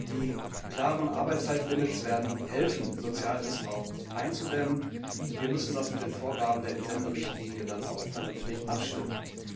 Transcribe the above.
Die klaren Arbeitszeitlimits werden helfen, Sozialmissbrauch einzudämmen, und wir müssen das mit den Vorgaben der Entsenderichtlinie dann auch vernünftig abstimmen.